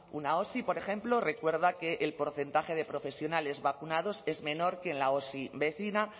una osi por ejemplo recuerda que el porcentaje de profesionales vacunados es menor que en la osi vecina